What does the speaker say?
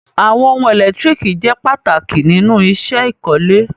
Awọn ọhun èlẹ́tiríkì jẹ́ pàtàkì nínu iṣẹ́ ìkọ̀lẹ̀.